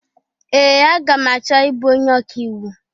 Ee! Aga m achọ ị bụ onye ọka iwu.